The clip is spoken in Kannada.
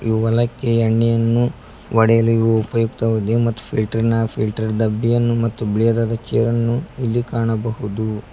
ಯು ಹೊಲಕ್ಕೆ ಎಣ್ಣೆಯನ್ನು ಹೊಡೆಯಲು ಇವು ಉಪಯುಕ್ತವಾಗಿದೆ ಮತ್ತು ಫಿಲ್ಟರ್ ನ ಫಿಲ್ಟರ್ ಡಬ್ಬಿಯನ್ನು ಮತ್ತು ಬಿಳಿಯದಾದ ಚೇರನ್ನು ಇಲ್ಲಿ ಕಾಣಬಹುದು.